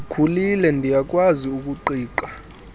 ndikhulile ndiyakwazi ukuqiqa